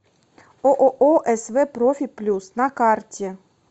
ооо св профи плюс на карте